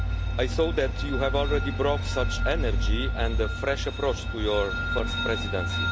I saw that you have already brought such energy and a fresh approach to your first Presidency.